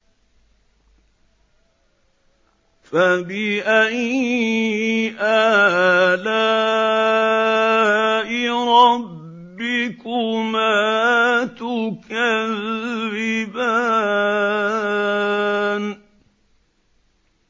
فَبِأَيِّ آلَاءِ رَبِّكُمَا تُكَذِّبَانِ